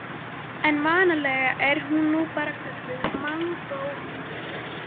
En vanalega er hún nú bara kölluð mongólíti.